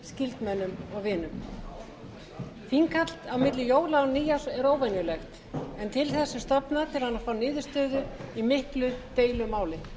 skyldmennum og vinum þinghald milli jóla og nýárs er óvenjulegt en til þess er stofnað til að fá niðurstöðu í miklu deilumáli